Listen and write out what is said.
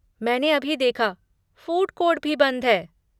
मैंने अभी देखा, फ़ूड कोर्ट भी बंद हैं।